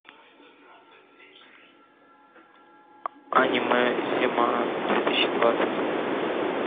аниме зима две тысячи двадцать